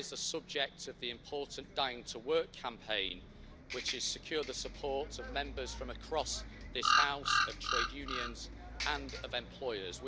That is the subject of the important Dying to Work' campaign, which has secured the support of Members from across this House, of trade unions and of employers.